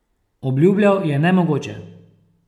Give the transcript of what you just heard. Obljubljal je nemogoče.